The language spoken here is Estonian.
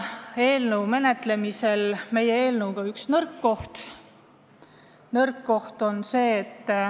Eelnõu arutades tuli välja ka üks selle nõrk koht.